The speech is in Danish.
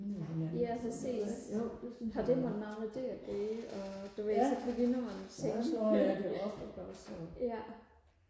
ja præcis har det mon noget med det og gøre og du ved så begynder man og tænke ja